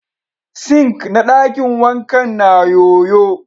"Sink " na dakin wankan na yo-yo.